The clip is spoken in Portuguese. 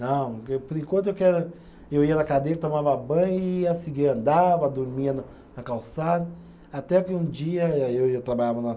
Não, por enquanto eu quero, eu ia na cadeira, tomava banho e ia seguir, andava, dormia na na calçada, até que um dia, aí eu eu trabalhava na